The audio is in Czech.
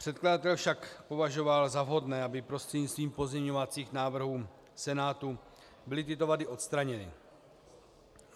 Předkladatel však považoval za vhodné, aby prostřednictvím pozměňovacích návrhů Senátu byly tyto vady odstraněny.